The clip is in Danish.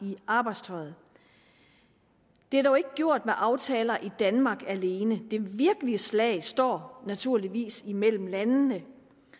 i arbejdstøjet det er dog ikke gjort med aftaler i danmark alene det virkelige slag står naturligvis imellem landene